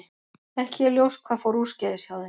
Ekki er ljóst hvað fór úrskeiðis hjá þeim.